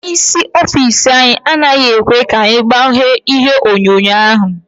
Ónyé ịsị ọffici anyị anaghị ekwe ka anyị gbanye ihe onyonyo ahụ.